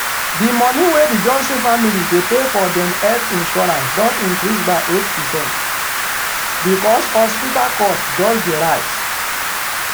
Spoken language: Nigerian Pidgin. di moni wey di johnson family dey pay for dem health insurance don increase by eight percent because hospital cost just dey rise.